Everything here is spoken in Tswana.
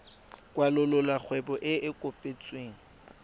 kwalolola kgwebo e e kopetsweng